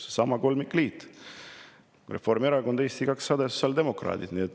Seesama kolmikliit: Reformierakond, Eesti 200, sotsiaaldemokraadid.